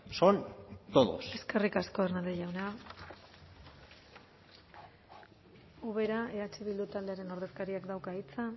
son todos eskerrik asko hernández jauna ubera eh bildu taldearen ordezkariak dauka hitza